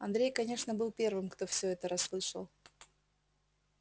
андрей конечно был первым кто все это расслышал